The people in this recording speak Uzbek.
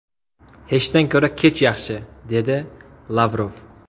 Hechdan ko‘ra kech yaxshi”, dedi Lavrov.